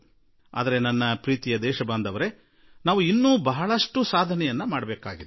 ಆದರೆ ನನ್ನೊಲವಿನ ನಾಗರಿಕರೆ ನಾವು ಮಾಡುವುದು ಬಹಳ ಇದೆ